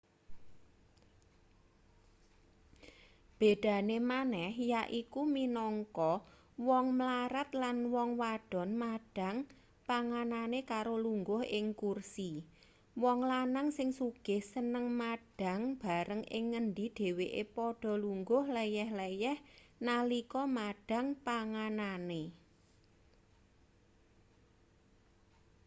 bedane maneh yaiku minangka wong mlarat lan wong wadon madhang panganane karo lungguh ing kursi wong lanang sing sugih seneng madhang bareng ing ngendi dheweke padha lungguh leyeh-leyeh nalika madhang panganane